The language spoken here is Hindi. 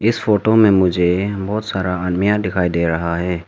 इस फोटो में मुझे बहुत सारा आदमिया दिखाई दे रहा है।